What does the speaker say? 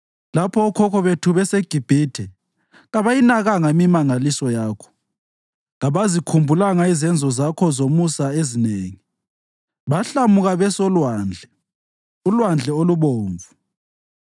Lapho okhokho bethu beseGibhithe, kabayinakanga imimangaliso yakho; kabazikhumbulanga izenzo zakho zomusa ezinengi, bahlamuka besolwandle, uLwandle oluBomvu.